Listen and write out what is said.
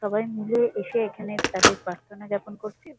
সবাই মিলে এসে এখানে তাদের প্রার্থনা যাপন করছে।